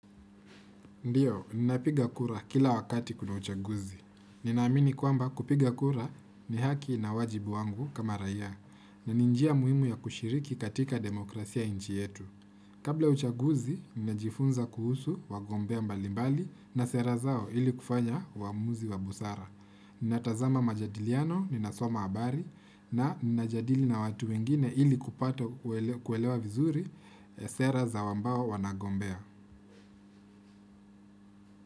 Ndiyo, ninapiga kura kila wakati kuna uchaguzi. Ninaamini kwamba kupiga kura ni haki na wajibu wangu kama raia. Na ni njia muhimu ya kushiriki katika demokrasia ya nchi yetu. Kabla uchaguzi, ninajifunza kuhusu wagombea mbalimbali na sera zao ili kufanya uamuzi wa busara. Ninatazama majadiliano, ninasoma habari na nina jadili na watu wengine ili kupata kupata kuelewa vizuri sera zao wambao wanagombea.